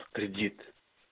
кредит